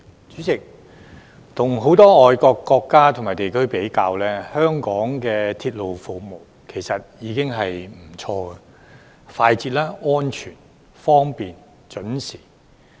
主席，與很多海外國家及地區比較，香港的鐵路服務已經不錯：快捷、安全、方便、準時。